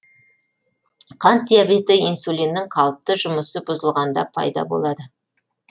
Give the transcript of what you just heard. қант диабеті инсулиннің қалыпты жұмысы бұзылғанда пайда болады